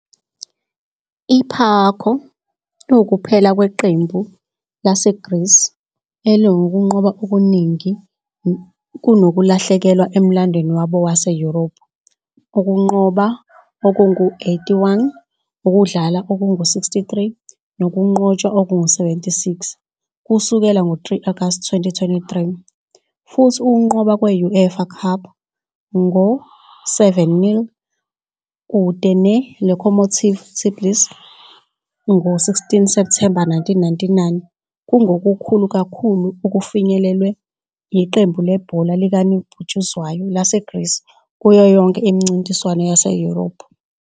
I-PAOK iwukuphela kweqembu laseGreece elinokunqoba okuningi kunokulahlekelwa emlandweni wabo waseYurophu, ukunqoba okungu-81, ukudlala okungu-63 nokunqotshwa okungu-76, kusukela ngo-3 August 2023, futhi ukunqoba kwe-UEFA Cup nge-0-7 kude ne-Locomotive Tbilisi ngo-16 September 1999 kungokukhulu kakhulu okufinyelelwe yiqembu lebhola likanobhutshuzwayo laseGreece kuyo yonke imincintiswano yaseYurophu.